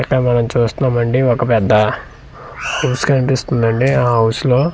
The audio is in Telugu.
ఇక్కడ మనం చూస్తున్నామండి ఒక పెద్ద విన్పిస్తుందండి ఆ హౌస్ లో--